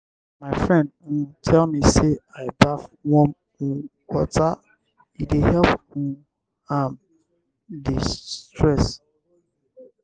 my friend um tell me sey make i baff warm um water e dey help um am di-stress.